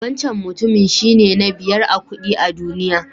Wancan mutumin shine na biyar a kuɗi a duniya.